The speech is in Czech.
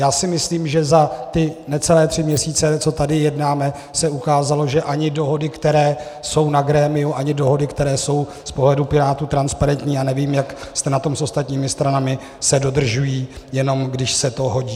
Já si myslím, že za ty necelé tři měsíce, co tady jednáme, se ukázalo, že ani dohody, které jsou na grémiu, ani dohody, které jsou z pohledu Pirátů transparentní - já nevím, jak jste na tom s ostatními stranami - se dodržují, jenom když se to hodí.